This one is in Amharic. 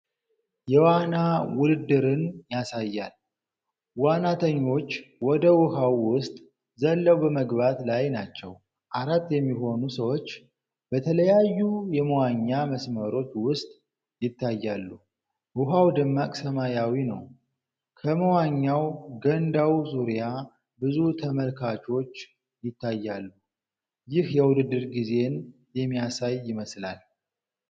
የዋና ውድድርን ያሳያል። ዋናተኞች ወደ ውሃው ውስጥ ዘለው በመግባት ላይ ናቸው። አራት የሚሆኑ ሰዎች በተለያዩ የመዋኛ መስመሮች ውስጥ ይታያሉ። ውሃው ደማቅ ሰማያዊ ነው። ከመዋኛ ገንዳው ዙሪያ ብዙ ተመልካቾች ይታያሉ። ይህ የውድድር ጊዜን የሚያሳይ ይመስላል።